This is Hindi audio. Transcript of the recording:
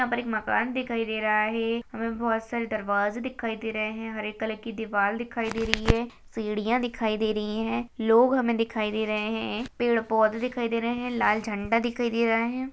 यहाँ पर एक मकान दिखाई दे रहा है हमे बहुत सारे दरवाजे दिखाई दे रहे है हरे कलर की दीवार दिखाई दे रही है सीढ़ियाँ दिखाई दे रही है लोग हमे दिखाई दे रहे है पेड़ पौधे दिखाई दे रहे है लाल झण्डा दिखाई दे रहा है।